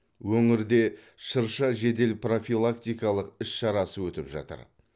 өңірде шырша жедел профилактикалық іс шарасы өтіп жатыр